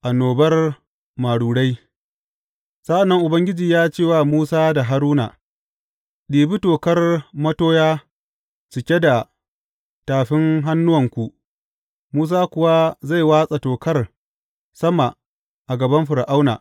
Annobar marurai Sa’an nan Ubangiji ya ce wa Musa da Haruna, Ɗibi tokar matoya cike da tafin hannuwanku, Musa kuwa zai watsa tokar sama a gaban Fir’auna.